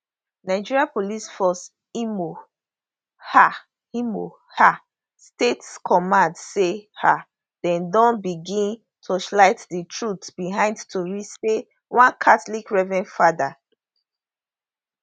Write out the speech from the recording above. nigeria police force imo um imo um state command say um dem don begin torchlight di truth behind tori say one catholic reverend fada